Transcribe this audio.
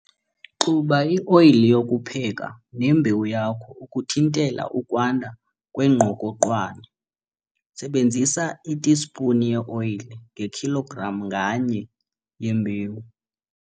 Xuba i-oyile yokupheka nembewu yakho ukuthintela ukwanda kwengqokoqwane. Sebenzisa itispuni ye-oyile ngekhilogram nganye yembewu.